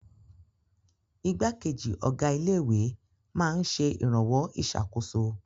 Ìgbákejì ọ̀gá ilé-ìwé máa ń ṣe ìrànwọ́ ìṣàkóso.